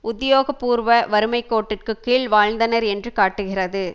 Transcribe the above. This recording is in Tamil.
உத்தியோக பூர்வ வறுமைக்கோட்டிற்குக் கீழ் வாழ்ந்தனர் என்று காட்டுகிறது